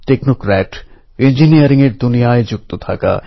ভারতে এমন কোনও নওজোয়ান আছেন যিনি এই পংক্তি শুনে প্রেরণা পাবেন না